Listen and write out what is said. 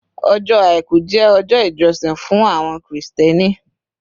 Ọjọ́ Àìkú jẹ́ ọjọ́ ìjọsìn fún àwọn Kírísítẹ́nì